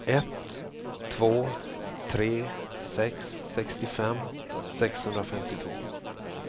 ett två tre sex sextiofem sexhundrafemtiotvå